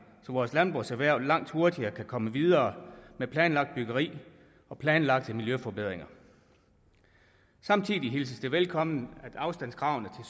så vores landbrugserhverv langt hurtigere kan komme videre med planlagt byggeri og planlagte miljøforbedringer samtidig hilses det velkommen at afstandskravene